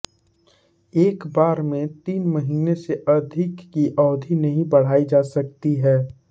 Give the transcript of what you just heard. एकबार में तीन महीने से अधिक की अवधि नहीं बढ़ाई जा सकती है